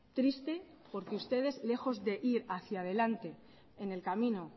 triste porque ustedes lejos de ir hacía adelante en el camino